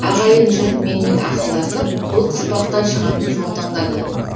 ағайын жұрт менімен ақылдасып бұл қыспақтан шығатын жол таңдады